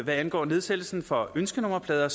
angår nedsættelsen for ønskenummerplader